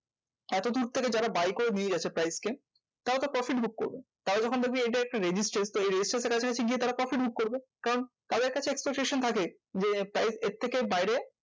এতদূর থেকে যারা buy করে নিয়ে গেছে price কে, তারা তো profit book করবে। তারা যখন দেখবে এটা একটা resistance তো এই resistance এর কাছাকাছি গিয়ে তারা profit book করবে। কারণ তাদের কাছে একটা resistance থাকে যে প্রায় এর থেকে বাইরে